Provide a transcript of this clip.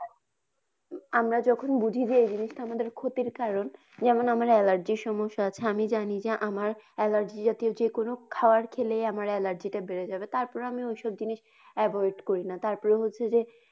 আমরা যখন বুঝি যে এই জিনিসটা আমার ক্ষতির কারণ যেমন আমার allergy সমস্যা আছে আমি জানি যে আমার allergy জাতীয় যেকোনো খাবার খেলে আমার allergy টা বেড়ে যাবে তারপরে আমি তারপরে ওইসব জিনিস avoid করিনা তারপরে হচ্ছে যে।